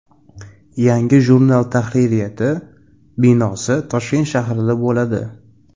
Yangi jurnal tahririyati binosi Toshkent shahrida bo‘ladi.